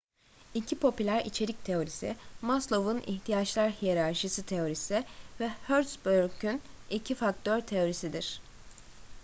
i̇ki popüler içerik teorisi maslow'un i̇htiyaçlar hiyerarşisi teorisi ve hertzberg'in i̇ki faktör teorisidir